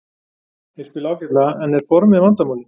Þeir spila ágætlega en er formið vandamálið?